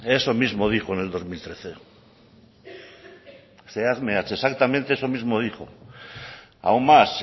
eso mismo dijo en el dos mil trece zehatz mehatz exactamente eso mismo dijo aún más